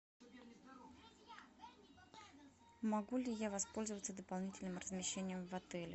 могу ли я воспользоваться дополнительным размещением в отеле